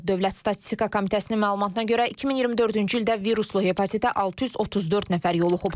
Dövlət Statistika Komitəsinin məlumatına görə 2024-cü ildə viruslu hepatitə 634 nəfər yoluxub.